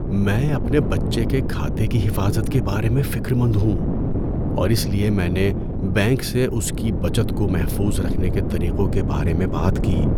میں اپنے بچے کے کھاتے کی حافظت کے بارے میں فکر مند ہوں اور اس لیے میں نے بینک سے اس کی بچت کو محفوظ رکھنے کے طریقوں کے بارے میں بات کی۔